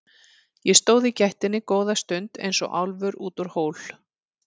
Ég stóð í gættinni góða stund eins og álfur út úr hól.